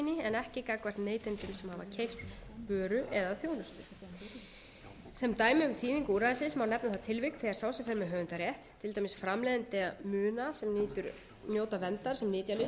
en ekki gagnvart neytendum sem hafa keypt vöru eða þjónustu sem dæmi um þýðingu úrræðisins má nefna það tilvik þegar sá sem fer með höfundarétt til dæmis framleiðandi muna sem njóta verndar sem nytjalist verður var við sölu